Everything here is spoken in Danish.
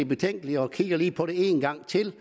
betænkelige og kigger lige på det en gang til